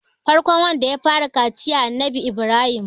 farkon wanda ya fara kaciya Annabi Ibrahim